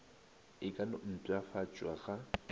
e ka no mpšhafatšwa ga